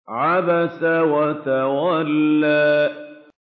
عَبَسَ وَتَوَلَّىٰ